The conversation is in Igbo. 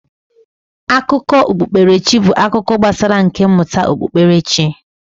Akụkọ okpukperechi bụ akụkọ gbasara nka mmụta okpukperechi.